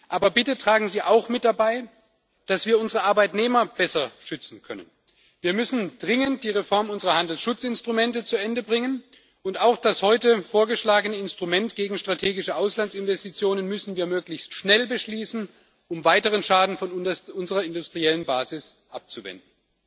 Aber bitte tragen Sie auch mit dazu bei, dass wir unsere Arbeitnehmer besser schützen können. Wir müssen dringend die Reform unserer Handelsschutzinstrumente zu Ende bringen, und auch das heute vorgeschlagene Instrument gegen strategische Auslandsinvestitionen müssen wir möglichst schnell beschließen, um weiteren Schaden von unserer industriellen Basis abzuwenden.